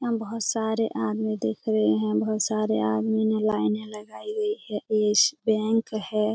यहाँ बोहोत सारे आदमी दिख रहे हैं बोहोत सारे आदमी ने लाइने लगायी गयी है ये येस बैंक है।